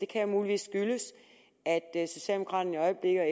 kan jo muligvis skyldes at socialdemokraterne og